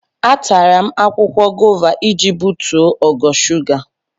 Atara m akwụkwọ gova iji butuo ogo shuga.